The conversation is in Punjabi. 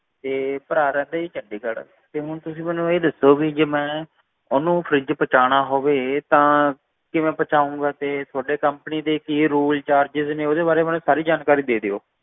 ਤੇ ਭਰਾ chandigarh ਰਹਿੰਦਾ ਏ ਜੀ ਤੇ ਹੁਣ ਤੁਸੀਂ ਮੈਨੂੰ ਦੱਸੋ ਕਿ ਜੇ ਮੈਂ ਓਹਨੂੰ fridge ਪਹੁੰਚਣਾ ਹੋਵੇ ਤਾਂ ਕਿਵੇਂ ਪਹੁੰਚਾਏਗਾ ਤੇ ਤੁਹਾਡੀ company ਦੇ ਕੀ rulescharges ਨੇ ਓਹਦੇ ਵਾਰੇ ਮਤਲਬ ਸਾਰੀ ਜਾਣਕਾਰੀ ਦੇ ਦਿਓ